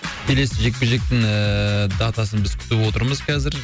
келесі жекпе жектің ыыы датасын біз күтіп отырмыз қазір